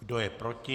Kdo je proti?